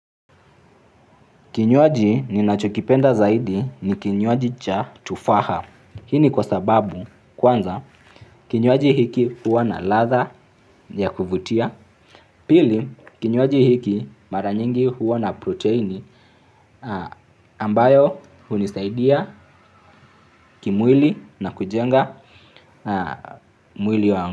Kinywaji ninachokipenda zaidi ni kinywaji cha tufaha. Hiki ni kwa sababu kwanza kinywaji hiki huwa na ladha ya kuvutia. Pili, kinywaji hiki mara nyingi huwa na protini. Ambayo hunisaidia kimwili na kujenga mwili wangu.